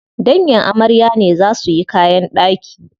Dangin amarya ne za suyi kayan ɗaki.